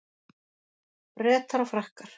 Bretar og Frakkar